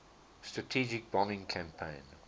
strategic bombing campaign